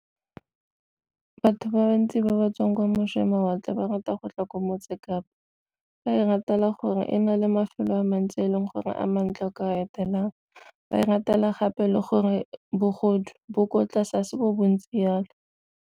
Batho ba bantsi ba ba tswang kwa ba rata go tla kwa motse Kapa, ba e ratela gore e na le mafelo a mantsi e leng gore a mantle o ka etelelang ba e ratela gape le gore bogodu bo ko tlase a se bo bontsi jalo.